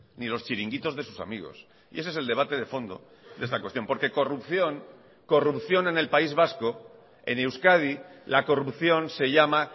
ni los chiringuitos de sus amigos y ese es el debate de fondo de esta cuestión porque corrupción corrupción en el país vasco en euskadi la corrupción se llama